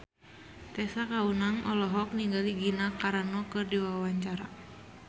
Tessa Kaunang olohok ningali Gina Carano keur diwawancara